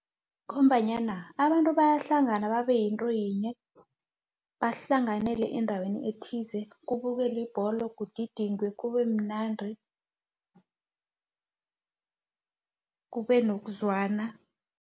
Ngombanyana abantu bayahlangana babeyinto yinye, bahlanganyele endaweni ethize, kubukeli ibholo, kugidingwe kubemnandi, kubenokuzwana.